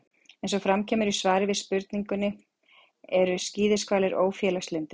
Eins og fram kemur í svari við spurningunni: Eru skíðishvalir ófélagslyndir?